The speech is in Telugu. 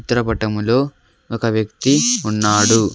చిత్రపటంలో ఒక వ్యక్తి ఉన్నాడు.